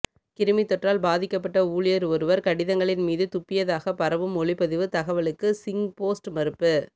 கிருமித்தொற்றால் பாதிக்கப்பட்ட ஊழியர் ஒருவர் கடிதங்களின்மீது துப்பியதாகப் பரவும் ஒலிப்பதிவு தகவலுக்கு சிங்போஸ்ட் மறுப்பு